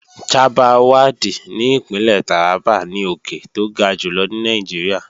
Chabbal Waddi ní Ìpínlẹ̀ Tàrábà ni òkè tó ga jùlọ ní Nàìjíríà